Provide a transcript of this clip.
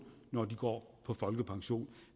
når de går på folkepension